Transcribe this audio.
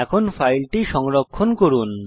এখন ফাইলটি সংরক্ষণ করুন